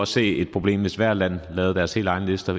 se et problem hvis hvert land lavede deres helt egne lister